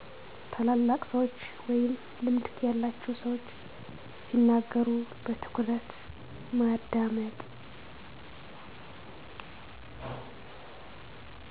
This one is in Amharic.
ታላላቅ ሰዎች ወይም ልምድ ያላቸው ሰዎች ሲናገሩ በትኩረት ማዳመጥ።